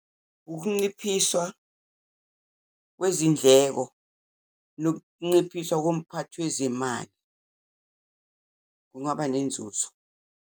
Ukunciphiswa kwezindleko nokunciphiswa komphakathi wezemali, kungaba nenzuzo.